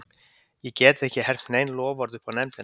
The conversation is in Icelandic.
Ég get ekki hermt nein loforð upp á nefndina.